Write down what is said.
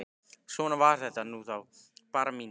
Svona var þetta nú þá, Bára mín.